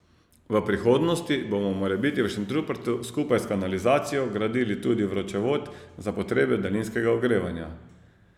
V prihodnosti bomo morebiti v Šentrupertu skupaj s kanalizacijo gradili tudi vročevod za potrebe daljinskega ogrevanja.